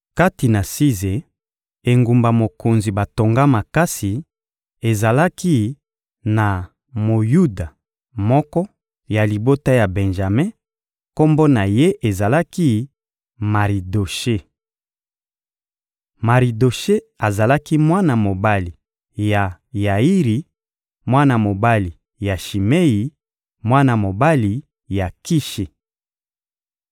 Kati na Size, engumba mokonzi batonga makasi, ezalaki na Moyuda moko ya libota ya Benjame; kombo na ye ezalaki «Maridoshe.» Maridoshe azalaki mwana mobali ya Yairi, mwana mobali ya Shimei, mwana mobali ya Kishi.